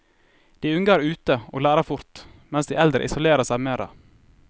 De unge er ute og lærer fort, mens de eldre isolerer seg mere.